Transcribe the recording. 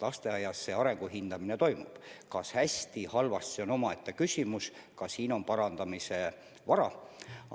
Lasteaias see arengu hindamine toimub – kas hästi või halvasti, see on omaette küsimus, ka siin on kindlasti parandamise ruumi.